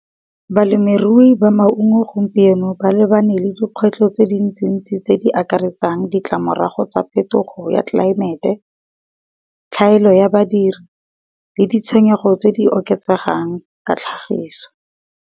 Balemirui ba maungo gompieno ba lebane le dikgwetlho tse di ntsi-ntsi tse di akaretsang ditlamorago tsa phetogo ya tlelaemete, tlhaelo ya badiri le ditshenyego tse di oketsegang ka tlhagiso.